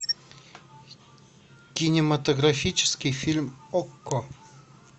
кинематографический фильм окко